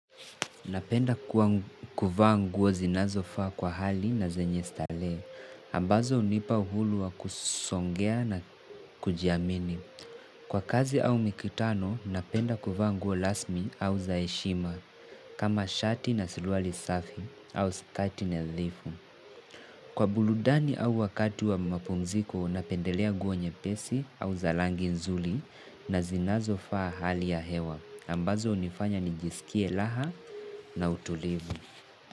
Napenda kuvaa nguo zinazofaa kwa hali na zenye stalehe. Ambazo hunipa uhulu wa kusongea na kujiamini. Kwa kazi au mikutano, napenda kuvaa nguo lasmi au za heshima. Kama shati na siluali safi au sikati nadhifu. Kwa buludani au wakati wa mapumziko, napendelea nguo nyepesi au za langi nzuli na zinazofaa hali ya hewa. Ambazo hunifanya nijisikie laha na utulivu.